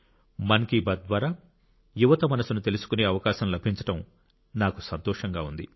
మన్ కి బాత్ ద్వారా యువత మనసును కూడా తెలుసుకునే అవకాశం లభించడం నాకు సంతోషంగా ఉంది